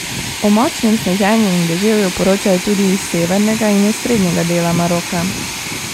O močnem sneženju in deževju poročajo tudi iz severnega in osrednjega dela Maroka.